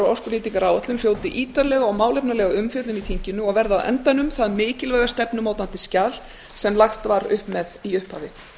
orkunýtingaráætlun hljóti ítarlega og málefnalega umfjöllun í þinginu og verði á endanum það mikilvæga stefnumótandi skjal sem lagt var af stað með í upphafi